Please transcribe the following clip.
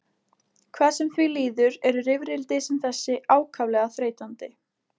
Hvað sem því líður eru rifrildi sem þessi ákaflega þreytandi.